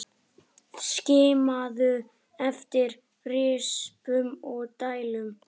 Skimaðu eftir rispum og dældum.